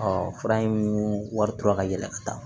fura in wari tora ka yɛlɛ ka taa